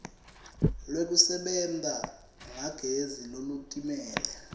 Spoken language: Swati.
lwekusebenta ngagezi lolutimele